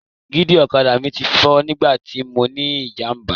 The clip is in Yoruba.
Dígí ọ̀kadà mi ti fọ́ nígbà tí mọ ní ìjàmbá.